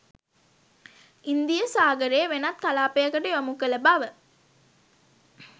ඉන්දීය සාගරයේ වෙනත් කලාපයකට යොමු කළ බව